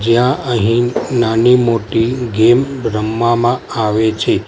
ત્યાં અહિ નાની-મોટી ગેમ રમવામાં આવે છે.